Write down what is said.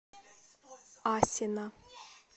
асино